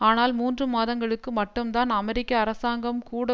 ஆனால் மூன்று மாதங்களுக்கு மட்டும்தான் அமெரிக்க அரசாங்கம் கூட